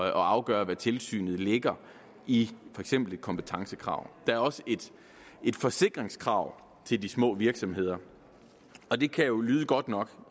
at afgøre hvad tilsynet lægger i for eksempel et kompetencekrav der er også et forsikringskrav til de små virksomheder og det kan jo lyde godt nok